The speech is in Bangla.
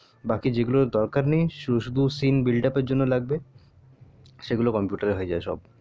বাকি যেগুলোর দরকান নেই শুধু শুধু scene build up জন্য লাগবে সেগুলো computer হয়ে যাবে সব